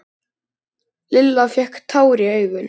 Lilla fékk tár í augun.